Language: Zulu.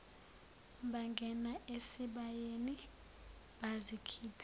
bangena esibayeni bazikhipha